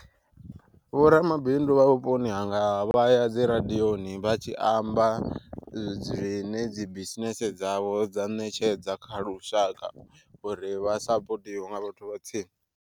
Vho ramabindu vha vhuponi hanga vhaya dzi radiyoni vha tshi amba dzine dzi bisinese dzavho dza ṋetshedza kha lushaka uri vha sapotiwe nga vhathu vha tsini.